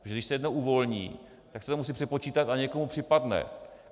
Protože když se jedno uvolní, tak se to musí přepočítat a někomu připadne.